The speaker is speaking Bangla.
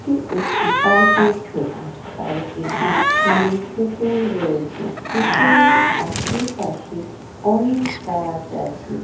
এটি একটি পার্ক এর ছবি। পার্ক এর মাঝখানে পুকুর রয়েছে। পুকুরি আশেপাশে অনেক গাছ আছে।